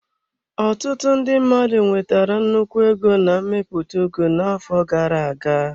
Ọtụtụ ndị mmadụ nwetara nnukwu ego na mmepụta ugu n'afọ gara aga.